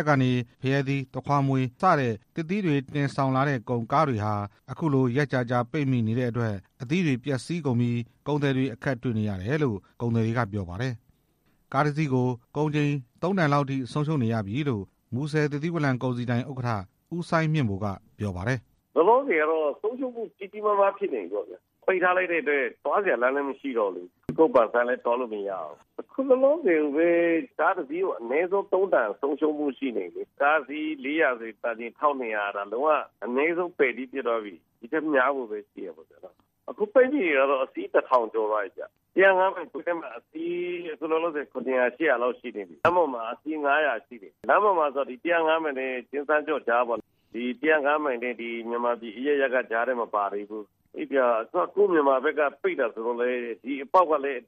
ပ်ကနေ ဖရဲသီး၊ သခွားမွေး စတဲ့ သစ်သီးတွေ တင်ဆောင်လာတဲ့ ကုန်ကားတွေဟာ အခုလို ရက်ကြာကြာပိတ်မိနေတဲ့အတွက် အသီးတွေပျက်စီးကုန်ပြီး ကုန်သည်တွေ အခက်တွေ့နေရတယ်လို့ ကုန်သည်တွေက ပြောပါတယ်။ ကားတစ်စီးကို ကုန်ချိန် ၃ တန်လောက်အထိ ဆုံးရှုံးနေရပြီလို့ မူဆယ် သစ်သီးဝလံကုန်စည်ဒိုင် ဥက္ကဋ္ဌ ဦးစိုင်းမြင့်ဗိုလ် က ပြောပါတယ်။ ‘’လောလောဆယ်ကတော့ ဆုံးရှုံးမှုကြီးကြီးမားမားဖြစ်နေပြီပေါ့ဗျာ၊ ပိတ်ထားလိုက်တဲ့အတွက် သွားစရာလမ်း လည်း မရှိတော့ဘူးလေ၊ ကြူကုတ်ပန်ဆိုင်းလည်း သွားလို့မရဘူး၊ အခုလောလောဆယ်ကိုပဲ ကားတစ်စီးကို ၃ တန်လောက် ဆုံးရှုံးမှုရှိနေပြီ၊ ကားအစီး ၄၀၀ ဆို တန်ချိန် ၁၂၀၀ လုံးဝ အနည်းဆုံးပယ် သီးဖြစ်သွားပြီ၊ အခုပိတ်မိနေတာက အစီး တစ်ထောင်ကျော်သွားပြီဗျ၊ ၁၀၅ မိုင်ဝင်းထဲမှာ အခုလောလောဆယ် အစီး ၇၀၀ ၈၀၀ လောက်ရှိနေပြီ၊ လမ်းပေါ်မှာ ကျင်ဆန်းကျော့နဲ့ ၁၀၅ မိုင်ကြားမှာဆို အစီး ၅၀၀ လောက်ရှိတယ် ၁၀၅ မိုင်နဲ့ မြန်မာပြည်အရပ်ရပ်က မပါသေးဘူး၊ အေးဗျာ ကိုယ့်မြန်မာဘက်က ပိတ်တာဆိုတော့လည်း ဒီအပေါက်ကလည်း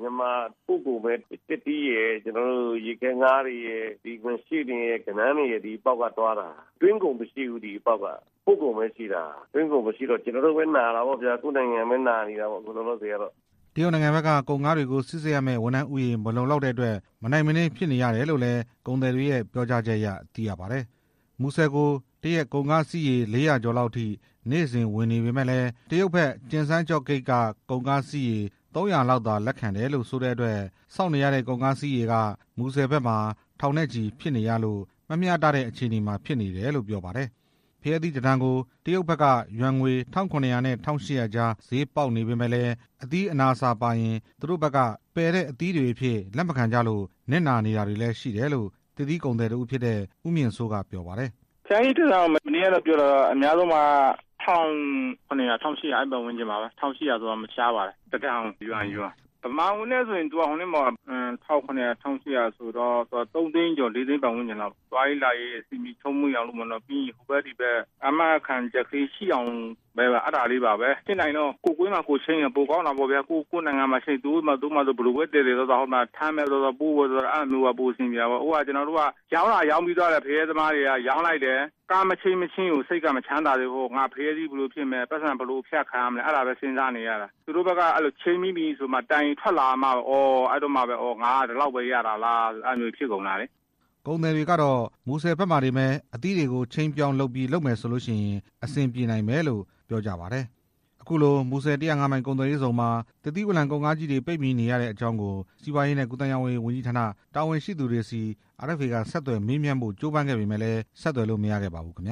မြန်မာပို့ကုန်သစ်သီး၊ ရေခဲငါး၊ ငါးရှဉ့်၊ ဂဏန်းတွေက ဒီအပေါက်ကသွားတာ၊ သွင်းကုန်မရှိဘူး ဒီအပေါက်က ပို့ကုန်ပဲရှိတာ၊ ကျနော်တို့ ကိုယ့်မြန်မာနိုင်ငံပဲနာတော့ဗျာ’’ တရုတ်နိုင်ငံဘက်က ကုန်ကားတွေကို စိစစ်ရမယ့်ဝန်ထမ်းဦးရေ မလုံလောက်တဲ့အတွက် မနိုင်မနင်းဖြစ်နေရတယ် လို့လည်း ကုန်သည်တွေရဲ့ ပြောကြားချက်အရ သိရပါတယ်။ မူဆယ်ကို တစ်ရက်ကုန်ကားစီးရေ ၄၀၀ ကျော်လောက်ထိ နေ့စဉ်ဝင်နေပေမယ့်လည်း တရုတ်ဘက် ကျင်ဆန်းကျော့ ဂိတ်က ကုန်ကားစီးရေ ၃၀၀ လောက်သာ လက်ခံတယ်လို့ဆိုတဲ့အတွက် စောင့်နေရတဲ့ ကုန်ကားစီးရေက မူဆယ်ဘက်မှာ ထောင်နဲ့ချီဖြစ်နေရလို့ မမျှတတဲ့အခြေအနေမှာ ဖြစ်နေတယ်လို့ ပြောပါတယ်။ ဖရဲသီးတစ်တန်ကို တရုတ်ဖက်က ယွမ်ငွေ ၁၇၀၀ နဲ့ ၁၈၀၀ ကြား ဈေးပေါက်နေပေမယ့်လည်း အသီး အနာအဆာ ပါရင်လည်း သူတို့ဘက်က ပယ်သီးတွေအဖြစ် လက်မခံကြလို့ နစ်နာတာတွေရှိတ်လို့ သစ်သီးကုန်သည် တစ်ဦးဖြစ်တဲ့ ဦးမြင့်စိုးက ပြောပါတယ်။ ‘’ဖရဲသီးတစ်တန် မနေ့ကပြောတာတော့ ၁၇၀၀၊ ၁၈၀၀ အဲဒီပတ်ဝန်းကျင်ပါပဲ၊ တစ်တန်ကို ယွမ် ၊ မြန်မာငွေနဲ့ဆို ၃ သိန်းကျော် ၄ သိန်းပတ်ဝန်းကျင်လောက်ပေါ့ ၊ သွားရေးလာရေးအဆင်ပြေချောမွေ့ စေဖို့ ဟိုဖက်ဒီဖက် အာမခံ ချက်လေးရှိအောင်လို့ ၊ ဖြစ်နိုင်ရင်တော့ ကိုယ့်ဝင်းထဲမှာပဲ ကိုယ်ချိန်းရင် ပို ကောင်းတာပေါ့ဗျာ၊ ကိုယ့်နိုင်ငံမှာပဲ ချိန်းလိုက် သူတို့ဖာသာ ဘယ်လိုပဲသယ်သယ်ပေါ့ဗျာ၊ အခုက ကျနော်တို့က ဖရဲသမားတွေက ရောင်းသာရောင်း လိုက်တယ် ကားမချိန်းမချင်းက စိတ်မချမ်းသာသေးဘူး၊ ဖရဲသီးဘယ်လိုဖြစ်မယ် ပိုက်ဆံဘယ်လိုအဖြတ်ခံရမယ် အဲဒါပဲစဉ်းစားနေရတာ၊ သူတို့ဘက်က ချိန်းပြီးပြီဆိုမှ အော် ငါက ဒီလောက်ပဲရတာလားဆိုပြီးတော့ ဖြစ်ကုန်တာလေ’’ ကုန်သည်တွေကတော့ မူဆယ်ဘက်မှာတင်ပဲ အသီးတွေကို ချိန်းပြီးလုပ်မယ်ဆိုရင် အဆင်ပြေမယ်လို့ ကုန်သည်တွေက ပြောပါတယ်။ ခုလိုမူဆယ် ၁၀၅ မိုင်ကုန်သွယ်ရေးဇုန်မှာ သစ်သီးဝလံကုန်ကားကြီးတွေ ပိတ်မိနေရတဲ့အကြောင်းကို စီးပွားရေးနဲ့ ကူးသန်းရောင်းဝယ်ရေးဝန်ကြီးဌာန တာဝန်ရှိသူတွေဆီ RFA က ဆက်သွယ်မေးမြန်းဖို့ ကြိုးပမ်းခဲ့ပေမယ့်လည်း ဆက်သွယ်လို့ မရခဲ့ပါဘူးခင်ဗျာ